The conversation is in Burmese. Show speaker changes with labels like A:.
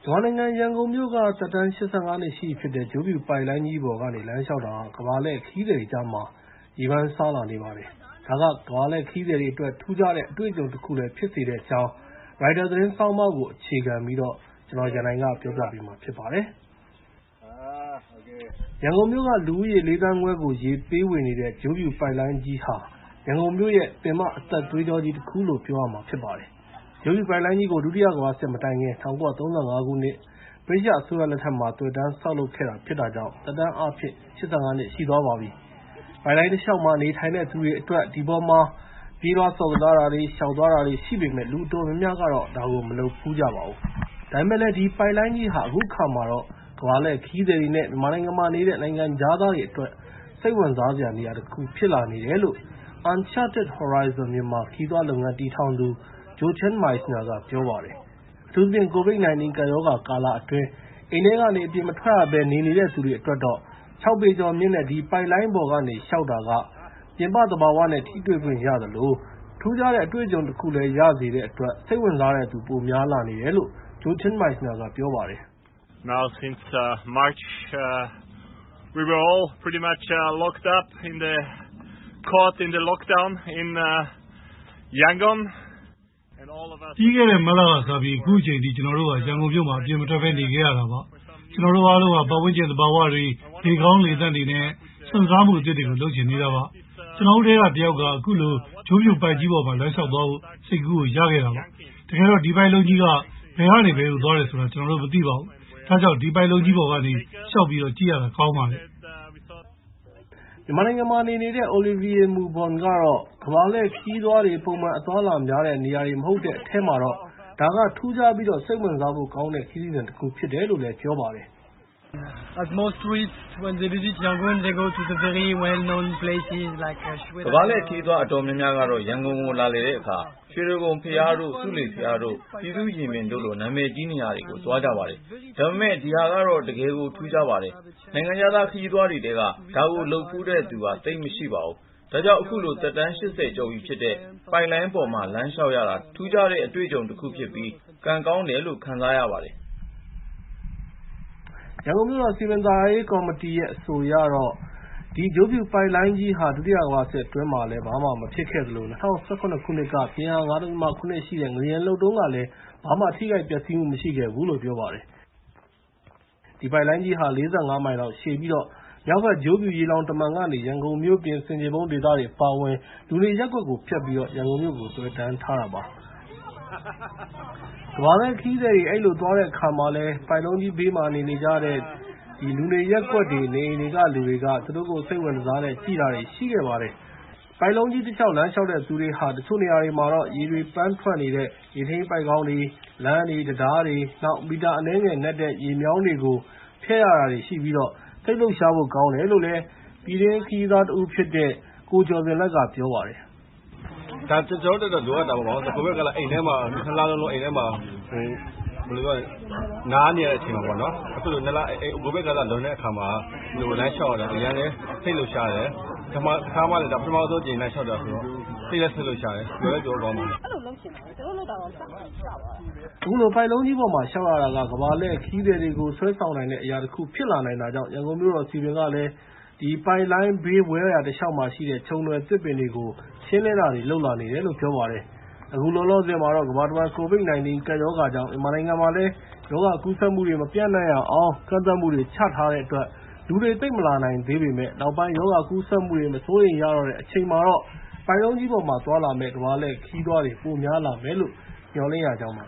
A: မာနိုင်ငံ ရန်ကုန်မြို့က သက်တမ်း ၈၅ နှစ်ရှိပြီဖြစ်တဲ့ ဂျိုးဖြူပိုက်လိုင်းတလျှောက် လမ်းလျှောက်တာက ကမ္ဘာ့လှည့်ခရီးသည်တွေကြား ရေပန်းစားလာနေပါတယ်။ ဒါက ကမ္ဘာ့လှည့်ခရီးသည်တွေအတွက် ထူးခြားတဲ့ အတွေ့အကြုံတခုလည်း ဖြစ်စေတဲ့ အကြောင်း ရိုက်တာ သတင်းဆောင်းပါးကို အခြေခံပြီး ကိုရန်နိုင် ပြောပြပေးမှာဖြစ်ပါတယ်။ ရန်ကုန်မြို့ က လူဦးရေ ၄ သန်းခွဲကို ရေပေးဝေနေတဲ့ ဂျိုးဖြူပိုက်လိုင်းကြီးဟာ ရန်ကုန်မြို့ရဲ့ ပင်မအသက်သွေးကြောကြီးတခုလို့ ပြောရမှာဖြစ်ပါတယ်။ ဂျိုးဖြူပိုက်လိုက်ကြီးကို ဒုတိယကမ္ဘာစစ်မတိုင်ခင် ၁၉၃၅ ခုနှစ် ဗြိတိသျှအစိုးရလက်ထက်မှာ သွယ်တန်းဆောက်လုပ် ခဲ့တာဖြစ်တာကြောင့် သက်တမ်းအားဖြင့် ၈၅ နှစ် ရှိသွားပြီဖြစ်ပါတယ်။ ပိုက်လိုင်းတလျှောက်မှာ နေထိုင်တဲ့သူတွေအတွက် ဒီပေါ်မှာ ပြေးလွှားဆော့ကစားတာတွေ၊ လျှောက်သွားတာတွေရှိပေမယ့် ၊ လူအတော်များများကတော့ မလုပ်ဖူးကြပါဘူး။ ဒါပေမဲ့လည်း ဒီပိုက်လိုင်းကြီးဟာ အခုအခါမှာတော့ ကမ္ဘာလှည့်ခရီးသည်တွေနဲ့ မြန်မာနိုင်ငံမှာနေတဲ့ နိုင်ငံခြားသားတွေအတွက် စိတ်ဝင်စားစရာ နေရာတခုဖြစ်လာနေတယ်လို့ Uncharted Horizons Myanmar ခရီးသွားလုပ်ငန်းတည်ထောင်သူ Jochen Meissner က ပြောပါတယ်။ အထူးသဖြင့် COVID- 19 ကပ်ရောဂါကာလ အတွင်း အိမ်ထဲကနေ အပြင်မထွက်ရဘဲနေနေတဲ့သူတွေအတွက်တော့ ၆ ပေကျော်မြင့်တဲ့ ဒီပိုက်လိုင်းပေါ်ကနေလျှောက်တာက ပြင်ပသဘာဝနဲ့ ထိတွေ့ခွင့်ရသလို၊ ထူးခြားတဲ့ အတွေ့အကြုံတခုလည်းရစေတဲ့ စိတ်ဝင်စားတဲ့သူတွေ ပိုများလာနေတယ်လို့ Jochen Meissner က ပြောပါတယ်။ “ပြီးခဲ့တဲ့မတ်လက်စပြီး အခုချိန်ထိ ကျနော်တို့ဟာ ရန်ကုန်မြို့မှာ အပြင်မထွက်ပဲ နေခဲ့ရတာပါ။ ကျနော်တို့အားလုံးဟာ ပတ်ဝန်းကျင်သဘာဝတွေ လေကောင်းလေသန့်တွေ၊ နဲ့ စွန့်စားမှုအသစ်တွေကို လုပ်ချင်နေတာပါ။ ကျနော်တို့ထဲက တစ်ယောက်က အခုလို ဂျိုးဖြူပိုက်ကြီးပေါ်မှာ လမ်းလျှောက်သွားဖို့ စိတ်ကူးကိုရခဲ့တာပါ။ တကယ်တော့ ဒီပိုက်လုံးကြီးက ဘယ်ကနေ ဘယ်ကိုသွားတယ်ဆိုတာလည်း ကျနော်တို့မသိပါဘူး။ ဒါကြောင့် ဒီပိုက်လုံးကြီးပေါ်ကနေ လျှောက်ပြီးကြည့်ရတာ ကောင်းပါတယ်။” မြန်မာနိုင်ငံမှာ နေနေတဲ့ Olivier Moubon ကတော့ ကမ္ဘာ့လှည့်ခရီးသွားတွေ ပုံမှန်အသွားအလာများတဲ့နေရာတွေ မဟုတ်တဲ့အထဲမှာတော့ ဒါက ထူးခြားပြီး စိတ်ဝင်စားဖို့ ကောင်းတဲ့ ခရီးစဉ်တခုဖြစ်တယ်လို့ပြောပါတယ်။ “ကမ္ဘာ့လှည့်ခရီးသွားအတော်များများကတော့ ရန်ကုန်ကိုလာလည်တဲ့အခါ၊ ရွှေတိဂုံဘုရားတို့ ဆူးလေဘုရားတို့ ပြည်သူရင်ပြင်တို့လို နာမည်ကြီးနေရာတွေကိုသွားကြပါတယ်။ ဒါပေမဲ့ ဒီဟာကတော့ တကယ်ကို ထူးခြားပါတယ်။ နိုင်ငံခြားသား ခရီးသွားတွေထဲက ဒါကိုလုပ်ဖူးတဲ့သူက သိပ်မရှိပါဘူး။ ဒါကြောင့် အခုလို သက်တမ်း ၈၀ ကျော်ရှိပြီဖြစ်တဲ့ ပိုက်လိုင်းပေါ်မှာလမ်းလျှောက်ရတာ ထူးခြားတဲ့ အတွေ့အကြုံတခုဖြစ်ပြီး၊ ကံကောင်းတယ်လို့ ခံစားရပါတယ်။” ရန်ကုန်မြို့တော်စည်ပင်သာယာရေးကောင်စီရဲ့ အဆိုအရတော့ ဒီ ဂျိုးဖြူပိုက်လိုင်းကြီးဟာ ဒုတိယကမ္ဘာစစ်အတွင်းမှာလည်း ဘာမှမဖြစ်ခဲ့သလို၊ ၂၀၀၇ ခုနှစ်က ပြင်းအား ၅.၇ ရှိတဲ့ ငလျင်လှုပ်တုန်းကလည်း ဘာမှထိခိုက်ပျက်စီးမှုမရှိခဲဘူးလို့ ပြောပါတယ်။ ဒီပိုက်လိုင်းကြီးဟာ ၄၅ မိုင်လောက်ရှည်ပြီး၊ ၊ မြောက်ဘက် ဂျိုးဖြူရေလှောင်တမံကနေ ရန်ကုန်မြို့ ပြင်က ဆင်ခြေဖုံးဒေသတွေ အပါအဝင် လူနေရပ်ကွက်တွေကို ဖြတ်ပြီး ရန်ကုန်ုမြို့ကို သွယ်တန်းထားတာဖြစ်ပါတယ်။ ကမ္ဘာ့လှည့်ခရီးသည်တွေ အဲဒီလိုသွားတဲ့အခါမှာလည်း ပိုက်လုံးကြီးဘေးမှာ နေကြတဲ့ လူနေရပ်ကွက်တွေ နေအိမ်တွေမှာရှိတဲ့သူတွေကို သူတို့ကို စိတ်ဝင်တစားနဲ့ ကြည့်ခဲ့ ကြပါတယ်။ ပိုက်လိုင်းတလျှောက် လမ်းလျှောက်တဲ့သူတွေဟာ တချို့ နေရာတွေမှာ ရေတွေပန်းထွက်နေတဲ့ ရေထိန်းပိုက်ခေါင်း၊ လမ်းတွေ တံတားတွေ၊ နောက် မီတာအနည်းငယ်နက်တဲ့ ရေမြောင်းကြီးတွေကို ဖြတ်ရတာတွေ ရှိပြီး စိတ်လှုပ်ရှားဖို့ ကောင်းတယ်လို့ ပြည်တွင်းခရီးသွား ကိုကျော်ဇင်လတ်က ပြောပါတယ်။ “ဒါက ကျနော်တို့အတွက်တော့ လိုအပ်တာပေါ့ ဘာဖြစ်လို့လဲဆိုတော့ COVID ကာလ တလလုံးလုံး အိမ်ထဲမှာ နားနေရတဲ့အချိန် အခုလို COVID ကာလ လွန်တဲ့အခါမှာ ဒီလို လမ်းလျှောက်ရတာ အရမ်းလည်း စိတ်လှုပ်ရှားတယ် ။ အခု ပထမဦးဆုံးအကြိမ်လမ်းလျှောက်တာဆိုတော့ စိတ်လည်းလှုပ်ရှားတယ် ပျော်လည်း ပျော်ဖို့ ကောင်းပါတယ်။” အခုလို ပိုက်လိုင်းကြီးပေါ်မှာ လျှောက်ရတာက ကမ္ဘာ့လှည့်ခရီးသည်တွေကို စွဲဆောင်နိုင်တဲ့ အရာတခုဖြစ်လာနိုင်တာကြောင့်၊ ရန်ကုန်မြို့တော်စည်ပင်ကလည်း ပိုက်လိုင်းဘေး ဝဲယာတစ်လျှောက်မှာရှိတဲ့ ချုံနွယ် သစ်ပင်တွေကို ရှင်းလင်းတာတွေလုပ်လာနေတယ်လို့ ပြောပါတယ်။ အခုလောလောဆယ်မှာတော့ ကမ္ဘာတဝှမ်း COVID-19 ကပ်ရောဂါကြောင့် ၊ မြန်မာနိုင်ငံမှာလည်း ရောဂါကူးစက်မှုတွေ မပျံနှံရအောင် ကန့်သတ်မှှုတွေချထားတဲ့အတွက် လူတွေသိပ်မလာနိုင်သေးပေမယ့်၊ နောက်ပိုင်း ရောဂါကူးစက်မှုတွေ မစိုးရိမ်ရတော့တဲ့အချိန်မှာတော့ ပိုက်လုံးကြီးပေါ်မှာ သွားလာမယ့် ကမ္ဘာ့လှည့်ခရီးသွားတွေ ပိုများလာမယ့်လို့ မျှော်လင့်ရကြောင်းပါ